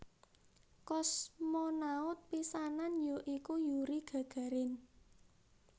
Kosmonaut pisanan ya iku Yuri Gagarin